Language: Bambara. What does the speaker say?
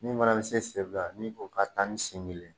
Min mana se senfila ni o ka taa ni sen kelen